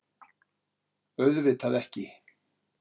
Auðvitað ekki.